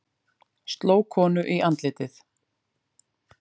Sló konu í andlitið